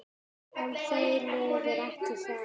En þau liðu ekki hjá.